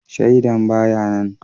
Shaidan ba ya nan